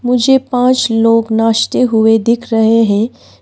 मुझे पांच लोग नाचते हुए दिख रहे हैं।